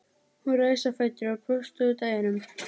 Hún reis á fætur og brosti út að eyrum.